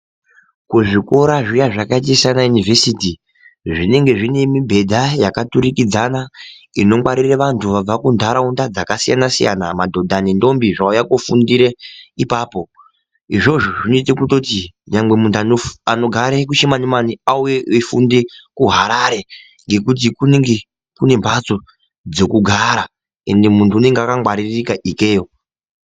kuzvikora zviya zvakaita sana yunovhesiti zv inenge zvine mibhedhdha yakaturukidzana. Inongwarire vantu vabva kunharaunda dzakasiyana-siyana madhodha nendombi zvauye kofundire ipapo. Izvozvo zvinoite kutoti vamwe muntu vanogare kuchimani-mani auye eifunde kuharare. Ngekuti kunenge kune mhatso dzekugara ende muntu unenge akangwaririka ikeyo.